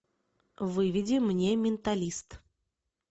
выведи мне менталист